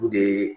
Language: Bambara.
U de ye